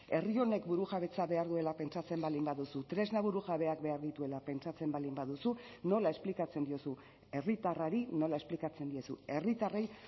herri honek burujabetza behar duela pentsatzen baldin baduzu tresna burujabeak behar dituela pentsatzen baldin baduzu nola esplikatzen diozu herritarrari nola esplikatzen diezu herritarrei